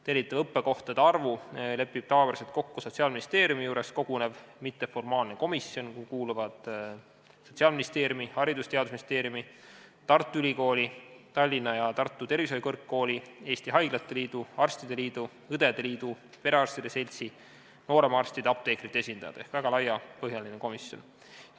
Tellitava õppekohtade arvu lepib tavapäraselt kokku Sotsiaalministeeriumi juures kogunev mitteformaalne komisjon, kuhu kuuluvad Sotsiaalministeeriumi, Haridus- ja Teadusministeeriumi, Tartu Ülikooli, Tallinna ja Tartu Tervishoiukõrgkooli, Eesti Haiglate Liidu, Eesti Arstide Liidu, Eesti Õdede Liidu, Eesti Perearstide Seltsi, samuti nooremarstide, apteekrite ja teiste erialade esindajad ehk väga laiapõhjaline komisjon.